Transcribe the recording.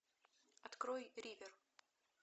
открой ривер